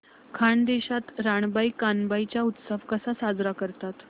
खानदेशात रानबाई कानबाई चा उत्सव कसा साजरा करतात